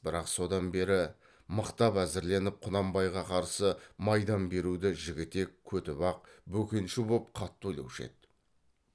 бірақ содан бері мықтап әзірленіп құнанбайға қарсы майдан беруді жігітек көтібақ бөкенші боп қатты ойлаушы еді